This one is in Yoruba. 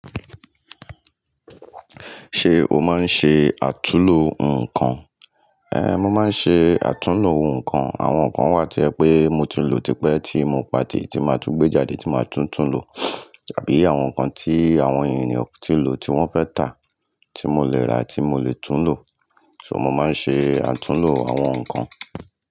Ṣé o máa ń ṣe àtúnlo ǹkan? Ehn, mo máa ń ṣe àtúlló ohun ǹkan. Àwọn ǹkan wà tí o jẹ pé mo ti lò tí pẹ́ tí mo pa tì tí máa tún gbé jáde tí máa tún tún lò àbí àwọn ǹkan tí àwọn ènìyàn ti lò tí wọ́n fẹ́ tà tí mo leè ra tí mo le tún lò. So mo máa ń ṣe àtúlló àwọn ǹkan.